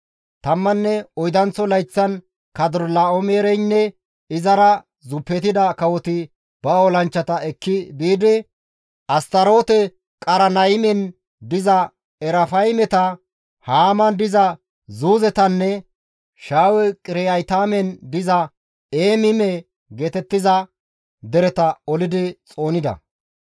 Tammanne oydanththo layththan Kadorlaa7oomereynne izara zuppetida kawoti ba olanchchata ekki biidi, Astaroote-Qarnaymen diza Erafaymeta, Haaman diza Zuuzetanne Shaawe-Qiriyaataymen diza Eemime geetettiza dereta olidi xoonida.